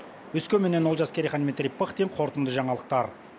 өскеменнен олжас керейхан дмитрий пыхтин қорытынды жаңалықтар